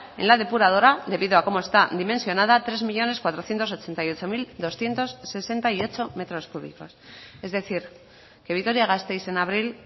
en la depuradora debido como esta dimensionada tres millónes cuatrocientos ochenta y ocho mil doscientos sesenta y ocho metros cúbicos es decir que vitoria gasteiz en abril